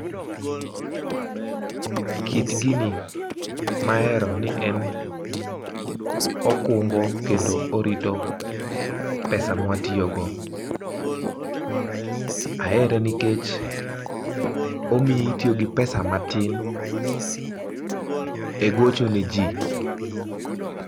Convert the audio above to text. Kit gini ma ahero ni en okungo kendo orito pesa ma watiyo go, ahere nikech omiyo itiyo gi pesa ma tin e gocho ne ji.